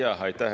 Aitäh!